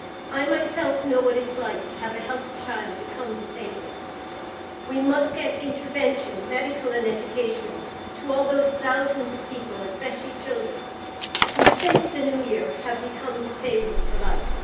I myself know what it is like to have a healthy child become disabled. We must get intervention medical and educational to all those thousands of people, especially children who, since the New Year, have become disabled for life.